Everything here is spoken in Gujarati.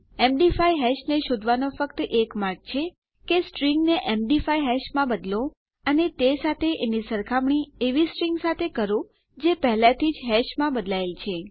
એમડી5 હેશને શોધવાનો ફક્ત એક જ માર્ગ છે કે સ્ટ્રીંગને એમડી5 હેશમાં બદલો અને એ સાથે એની સરખામણી એવી સ્ટ્રીંગ સાથે કરો જે પહેલાથી જ હેશમાં બદલાયેલી છે